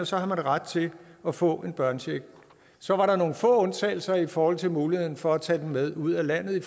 så har man ret til at få en børnecheck så var der nogle få undtagelser i forhold til muligheden for at tage den med ud af landet